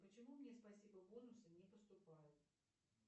почему мне спасибо бонусы не поступают